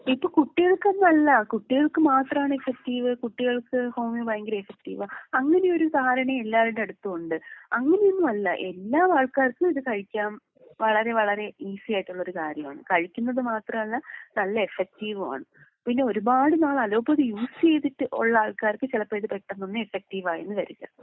ഇപ്പൊ കുട്ടികൾക്കെന്നല്ലാ, കുട്ടികൾക്ക് മാത്രാണ് എഫെക്റ്റീവ് കുട്ടികൾക്ക് ഹോമിയോ ഭയങ്കര എഫെക്റ്റീവാ അങ്ങനെ ഒരു ധാരണ എല്ലാരുടെ അടുത്തും ഉണ്ട്.അങ്ങനെയൊന്നും അല്ലാ എല്ലാ ആൾക്കാർക്കും ഇത് കഴിക്കാം.വളരെ വളരേ ഈസി ആയിട്ടുള്ള ഒരു കാര്യമാണ്. കഴിക്കുന്നത് മാത്രമല്ല നല്ല എഫെക്റ്റീവുമാണ്.പിന്നെ ഒരുപാട് നാള് അലോപ്പതി യൂസ് ചെയ്തിട്ട് ഉള്ള ആൾക്കാർക്ക് ഇത് ചെലപ്പൊ പെട്ടെന്നൊന്നും എഫെക്റ്റീവ് ആയെന്ന് വരില്ല.